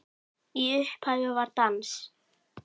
Í upphafi var dans.